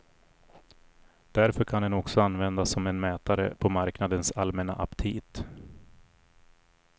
Därför kan den också användas som en mätare på marknadens allmänna aptit.